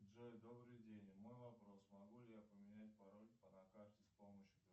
джой добрый день мой вопрос могу ли я поменять пароль на карте с помощью